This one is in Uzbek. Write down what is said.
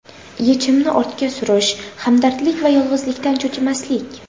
Yechimni ortga surish, hamdardlik va yolg‘izlikdan cho‘chimaslik.